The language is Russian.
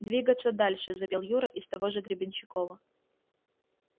двигаться дальше запел юра из того же гребенщикова